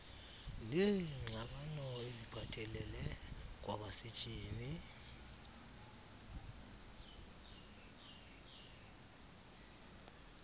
neengxabano eziphathelele kwabasetyhini